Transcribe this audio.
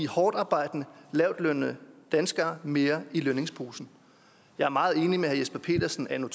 hårdtarbejdende lavtlønnede danskere får mere i lønningsposen jeg er meget enig med herre jesper petersen anno